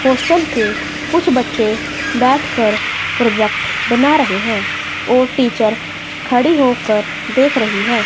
Hostel के कुछ बच्चे बैठकर प्रोजेक्ट बना रहे हैं और टीचर खड़ी होकर देख रही है।